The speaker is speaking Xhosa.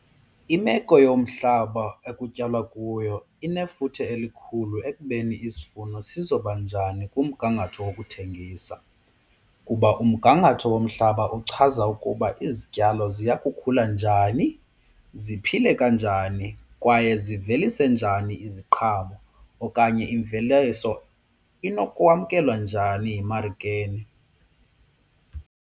Imeko yomhlaba ekutyalwa kuyo inefuthe elikhulu ekubeni isivuno sizobanjani kumgangatho wokuthengisa kuba umgangatho womhlaba uchaza ukuba izityalo ziya kukhula njani, ziphile kanjani kwaye zivelise njani iziqhamo okanye imveliso inokwamkelwa njani emarikeni.